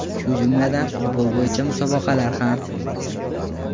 Shu jumladan, futbol bo‘yicha musobaqalar ham.